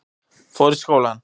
Fór í skólann.